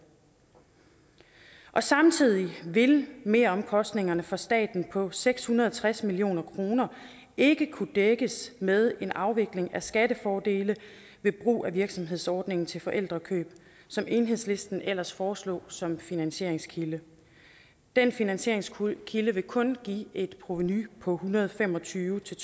samtidig vil meromkostningerne for staten på seks hundrede og tres million kroner ikke kunne dækkes med en afvikling af skattefordele ved brug af virksomhedsordningen til forældrekøb som enhedslisten ellers foreslår som finansieringskilde den finansieringskilde vil kun give et provenu på en hundrede og fem og tyve til